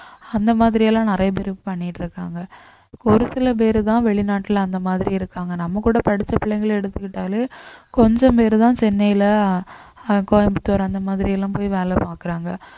அந்த மாதிரி எல்லாம் நிறைய பேர் பண்ணிட்டு இருக்காங்க இப்ப ஒரு சில பேருதான் வெளிநாட்டுல அந்த மாதிரி இருக்காங்க நம்ம கூட படிச்ச பிள்ளைங்களை எடுத்துக்கிட்டாலே கொஞ்சம் பேரு தான் சென்னையில அஹ் கோயம்புத்தூர் அந்த மாதிரி எல்லாம் போய் வேலை பாக்குறாங்க